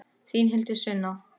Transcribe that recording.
Þín Hildur Sunna.